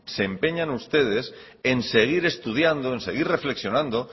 se empeñan ustedes en seguir estudiando en seguir reflexionando